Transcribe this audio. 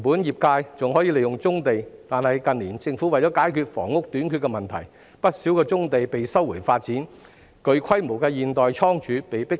業界本可利用棕地，但近年政府為解決房屋短缺的問題，不少棕地被收回發展，具規模的現代倉儲亦被迫遷。